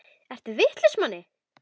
Ertu vitlaus Manni!